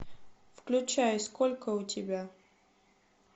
включай сколько у тебя